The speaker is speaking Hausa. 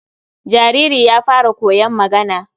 jariri ya fara koyon magana.